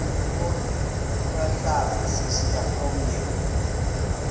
intlokohlaza sesisaz omny